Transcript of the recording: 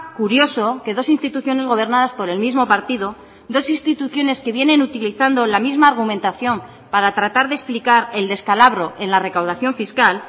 curioso que dos instituciones gobernadas por el mismo partido dos instituciones que vienen utilizando la misma argumentación para tratar de explicar el descalabro en la recaudación fiscal